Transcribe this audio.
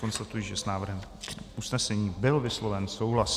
Konstatuji, že s návrhem usnesení byl vysloven souhlas.